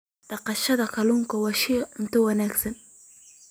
Dhaqashada kalluunka waa isha cunto wanaagsan.